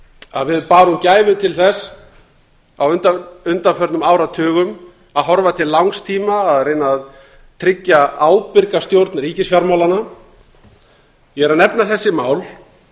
að við árum gæfu til þess á undanförnum áratugum að horfa til langs tíma að reyna að tryggja ábyrga stjórn ríkisfjármálanna ég er að nefna þessi mál